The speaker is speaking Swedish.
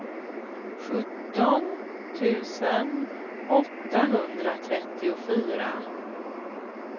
sjutton tusen åttahundratrettiofyra